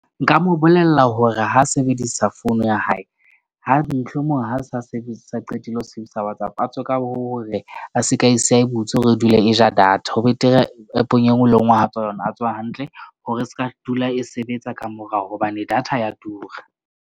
Nka mo bolella hore ha sebedisa phone ya hae ha sa sebetsa qetile ho sebedisa WhatsApp a tswe ka hore a seka e siya e butswe hore e dule e ja data. Ho betere app-ong enngwe le enngwe ha tswa ho yona, a tswa hantle hore e ska dula e sebetsa ka morao hobane data ya tura.